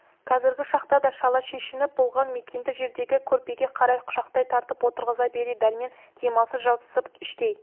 қазіргі шақта да шала шешініп болған мәкенді жердегі көрпеге қарай құшақтай тартып отырғыза бере дәрмен дамылсыз жабысып іштей